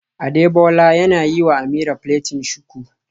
Adebola yana yiwa Ameerah plaiting shuku